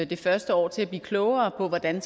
det første år til at blive klogere på hvordan